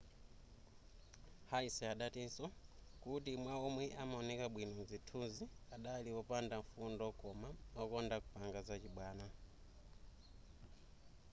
hsieh adatinso kuti a ma omwe amaoneka bwino mzithunzi adali opanda mfundo koma wokonda kupanga zachibwana